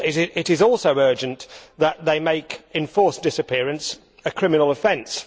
It is also urgent that they make enforced disappearance a criminal offence.